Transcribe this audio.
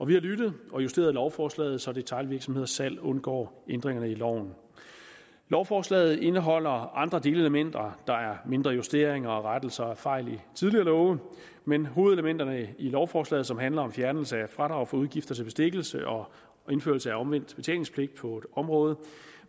vi har lyttet og justeret lovforslaget så detailvirksomheders salg undgår ændringerne i loven lovforslaget indeholder andre delelementer der er mindre justeringer og rettelser af fejl i tidligere love men hovedelementerne i lovforslaget handler om fjernelse af fradrag for udgifter til bestikkelse og indførelse af omvendt betalingspligt på områder